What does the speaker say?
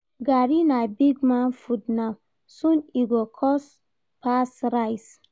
Garri na big man food now, soon e go cost pass rice